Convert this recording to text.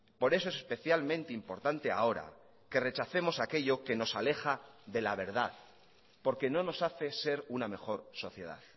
por eso es especialmente importante ahora que rechacemos aquello que nos aleja de la verdad porque no nos hace ser una mejor sociedad